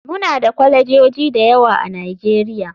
Muna da kwalejoji da yawa a nigeria.